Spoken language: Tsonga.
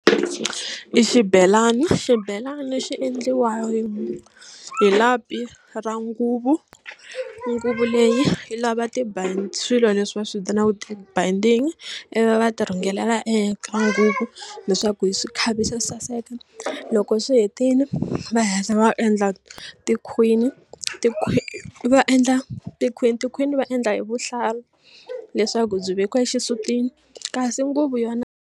I xibelani xibelani xi endliwanga hi hi lapi ra nguvu nguva leyi yi lava swilo leswi va swi vitanaka tibayindingi ivi va ti rhungelela eka nguva leswaku hi swi khavisa saseka loko swi hetile va hatla va endla tikhwini va endla tikhwini tikhwini va endla hi vuhlalu leswaku byi vekiwa exisutini kasi nguvu yona.